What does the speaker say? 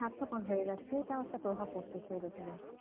স্বার্থপর হয়ে যাচ্ছে এটাও একটা প্রভাব পড়তেছে এর ওপর এ